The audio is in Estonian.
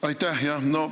Aitäh!